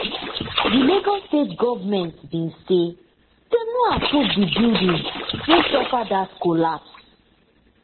di lagos state goment bin say dem no approve di building wey suffer dat collapse